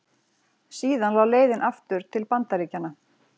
Síðan lá leiðin aftur til Bandaríkjanna.